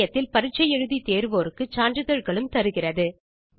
இணையத்தில் பரிட்சை எழுதி தேர்வோருக்கு சான்றிதழ்களும் தருகிறது